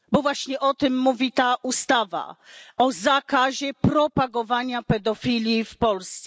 Bo właśnie o tym mówi ta ustawa o zakazie propagowania pedofilii w Polsce.